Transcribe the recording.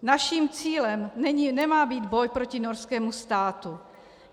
Naším cílem nemá být boj proti norskému státu.